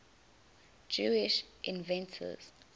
jewish inventors